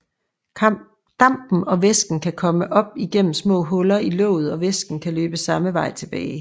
Dampen og væsken kan komme op igennem små huller i låget og væsken kan løbe samme vej tilbage